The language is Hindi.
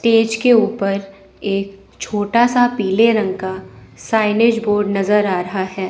टेज के ऊपर छोटा सा पीले रंग का साइनेज बोर्ड नजर आ रहा है।